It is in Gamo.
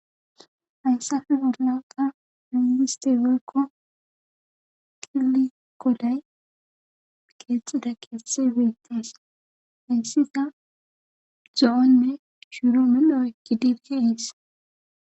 hayssafe orlanqa miiste werkko kilikolay geexxida keese weytees hayssita zoonne shuuro medho ekkidibkeiis